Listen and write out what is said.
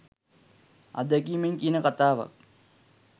අත්දැකීමෙන් කියන කතාවක්